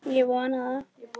Ég vona það.